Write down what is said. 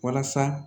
Walasa